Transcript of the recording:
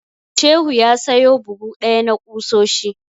Shehu ya sayo buhu ɗaya na ƙusoshi.